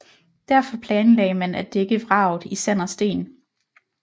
Derfor planlagde man at dække vraget i sand og sten